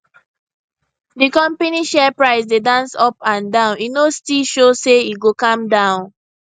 di company share price dey dance up and down e no still show say e go calm down